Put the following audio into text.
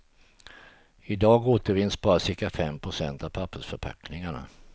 I dag återvinns bara cirka fem procent av pappersförpackningarna.